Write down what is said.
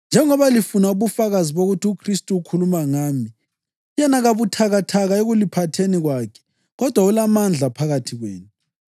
njengoba lifuna ubufakazi bokuthi uKhristu ukhuluma ngami. Yena kabuthakathaka ekuliphatheni kwakhe kodwa ulamandla phakathi kwenu.